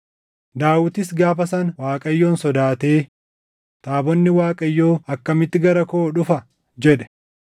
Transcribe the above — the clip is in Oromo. Daawitis gaafa sana Waaqayyoon sodaatee, “Taabonni Waaqayyoo akkamitti gara koo dhufa?” jedhe.